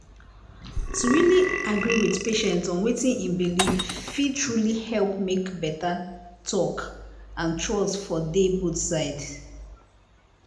to really agree with patient on watin em believe fit truly help make better talk and trust for dey both side.